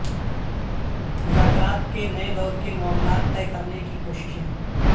مذاکرات کے نئے دور کے معاملات طے کرنے کی کوششیں